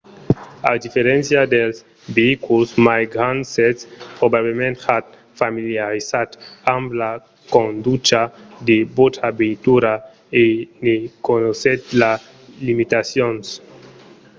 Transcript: a diferéncia dels veïculs mai grands sètz probablament ja familiarizat amb la conducha de vòstra veitura e ne coneissètz las limitacions